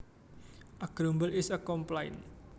A grumble is a complaint